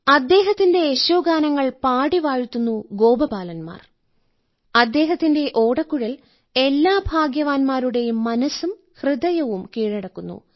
അദ്ദേഹത്തിന്റെ യശോഗാനങ്ങൾ പാടി വാഴ്ത്തുന്ന ഗോപബാലൻമാർ അദ്ദേഹത്തിന്റെ ഓടക്കുഴൽ എല്ലാ ഭാഗ്യവാൻമാരുടെയും മനസ്സും ഹൃദയവും കീഴടക്കുന്നു